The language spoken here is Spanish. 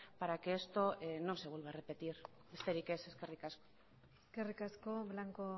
para que esto no se vuelva a repetir besterik ez eskerrik asko eskerrik asko blanco